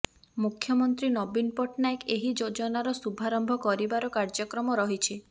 ମୁଖ୍ୟମନ୍ତ୍ରୀ ନବୀନ ପଟ୍ଟନାୟକ ଏହି ଯୋଜନାର ଶୁଭାରମ୍ଭ କରିବାର କାର୍ଯ୍ୟକ୍ରମ ରହିଛି